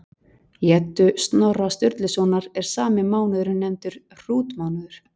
Í Eddu Snorra Sturlusonar er sami mánuður nefndur hrútmánuður.